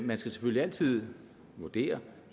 man skal selvfølgelig altid vurdere